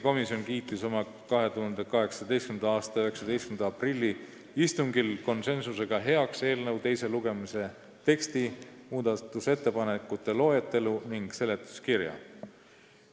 Oma 19. aprilli istungil kiitis komisjon heaks eelnõu teise lugemise teksti, muudatusettepanekute loetelu ja seletuskirja.